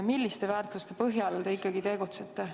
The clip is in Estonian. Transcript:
Milliste väärtuste põhjal te ikkagi tegutsete?